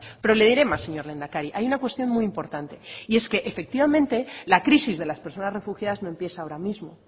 pero le diré más señor lehendakari hay una cuestión muy importante y es que efectivamente la crisis de las personas refugiadas no empieza ahora mismo